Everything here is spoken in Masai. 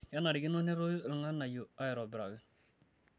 kenarikino netoyu olganayuo aitobiraki